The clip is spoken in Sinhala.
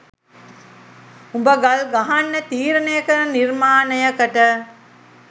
උඹ ගල් ගහන්න තීරණය කරන නිර්මාණයකට